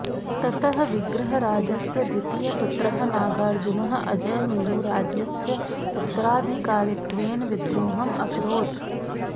ततः विग्रहराजस्य द्वितीयः पुत्रः नागार्जुनः अजयमेरुराज्यस्य उत्तराधिकारित्वेन विद्रोहम् अकरोत्